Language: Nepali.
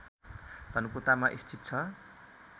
धनकुटामा स्थित छ